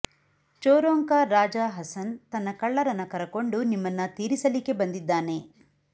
ಚೋರೋಂಕಾ ರಾಜಾ ಹಸನ್ ತನ್ನ ಕಳ್ಳರನ್ನ ಕರಕೊಂಡು ನಿಮ್ಮನ್ನ ತೀರಿಸಲಿಕ್ಕೆ ಬಂದಿದ್ದಾನೆ